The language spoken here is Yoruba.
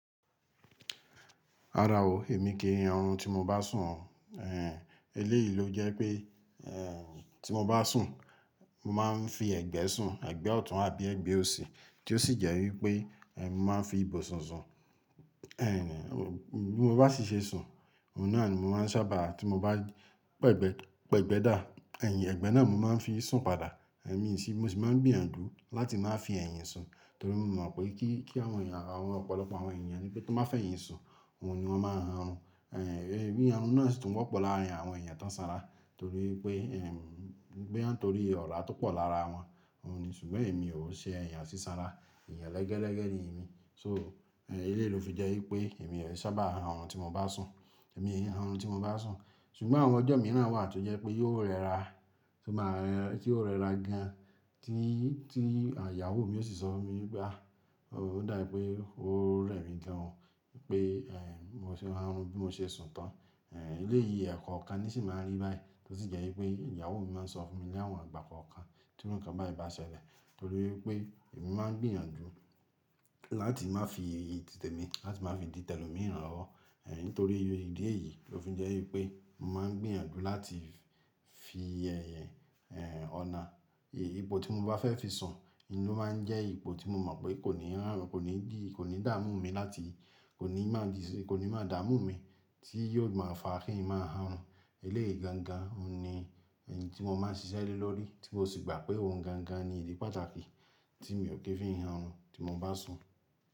Rárá o, èmi kì han orun tí mo bá sùn. Ehn, eléyìí lo jẹ́ pé, ehn, tí mo bá sùn, mo máa ń fi ẹ̀gbẹ́ sùn, ẹ̀gbẹ́ ọ̀tún àbí ẹ̀gbẹ́ òsì tí ó sì jẹ́ wípé, ehn, mo máa ń fi ibùsùn sun. Ehn, bí mo bá sì ṣe sùn, ohun náà ni mo máa ń sábà tí mo bá pẹ̀gbẹ́, pẹ̀gbẹ́ dà, eyin ẹ̀gbẹ́ náà mo máa ń fi sùn padà. Eh, mí sì, mo sì máa ń gbìyànjú láti máa fi ẹ̀yìn sùn torí mo mọ̀ pé kí, kí àwọn èèyàn, àwọn ọ̀pọ̀lọpọ̀ àwọn èèyàn ní bí tó bá fi ẹ̀yìn sùn, ohun ni wọ́n máa ń han orun Eh, bí iyanu náà sì tún wọ́pọ̀ láàárín àwọn èèyàn tó sanra torí pé, ehn, pé tó rí ọ̀rá tó pọ̀ lára wọn, òun ni ṣùgbọ́n èmi ò ṣe èèyàn sísanra, èèyàn ẹlẹ́gẹ̀lẹ́gẹ̀ ni èmi. So eléyìí ló fi jẹ́ wípé èmi ò sábà hun àwọn tí mo bá sùn, èmi e han orun àwọn tí mo bá sùn. Ṣùgbọ́n àwọn ọjọ́ mìíràn wà tí ó jẹ́ pé yóò rẹra, tí ó máa rẹ́, tí ó rẹra gan tí, tí ìyàwó mi yóò sì sọ mí bá, ó dáyì pé ó rẹ́ mi gan pé, ehn, mo ṣe máa hun bí mo ṣe sùn tán. Ehn, eléyìí ẹ̀kọ kan ni sì máa ń rí báyìí tó sì jẹ́ wípé ìyàwó mi máa ń sọ fún mi ní àwọn ìgbà kan kan tí ǹkan báyìí bá ṣẹlẹ̀ torí pé èmi máa ń gbìyànjú láti má fi èyí tí tèmi, láti má fi dì tẹlò mìíràn lọ́wọ́. Eh, nítorí ìdí èyí ló fi jẹ́ wípé mo máa ń gbìyànjú láti fi ẹ̀yìn, ehn, ọ̀nà, ibo tí mo bá fẹ́ fi sùn, inú máa ń jẹ́ ibo tí mo mọ̀ pé kò ní hàn, kò ní dì, kò ní dààmú mi láti, kò ní má dì, kò ní má dààmú mi tí yóò má fà á kí ń má han orun Eléyìí gangan ni ohun tí mo máa ń ṣiṣẹ́ lórí tí mo sì gbà pé ohun gangan ni ìdí pàtàkì tí èmi ò kí ń fi han orun tí mo bá sùn.